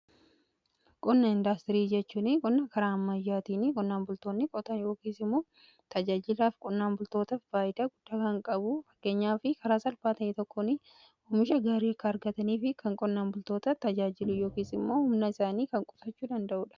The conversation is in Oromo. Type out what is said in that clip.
qonna indaastirii jechuun qonna karaa ammayyaatiin qonnaan bultoonni qotan yookiin immoo tajaajilaa qonnaan bultootaf faayidaa guddaa kan qabudha. fageenyaaf karaa salphaa ta'e tokkoon oomisha gaarii akka argataniif kan qonnaan bultoota tajaajilu yookiin immoo humna isaanii kan qusachuu danda'uudha.